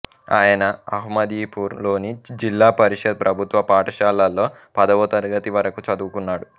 ఆయన అహ్మదీపూర్ లోని జిల్లా పరిషత్ ప్రభుత్వ పాఠశాలలో పదవ తరగతి వరకు చదువుకున్నాడు